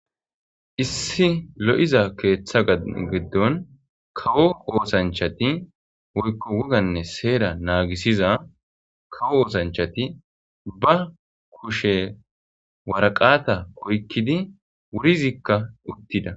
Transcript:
Issi lo7iza keeththa geddon kawo oosanchati woykko woganne seera naagisiza kawo oosanchati ba kushe waraqata koykkidi wurizikka uttida.